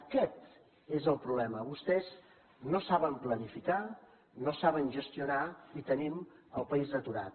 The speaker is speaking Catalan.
aquest és el problema vostès no saben planificar no saben gestionar i tenim el país aturat